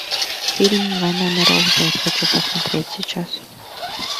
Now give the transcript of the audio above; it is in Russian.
фильм война миров зет хочу посмотреть сейчас